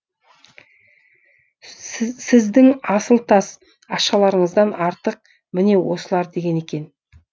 сіздің асыл тас ақшаларыңыздан артық міне осылар деген екен